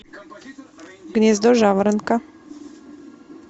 гнездо жаворонка